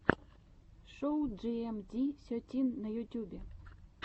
шоу джиэмди сетин на ютьюбе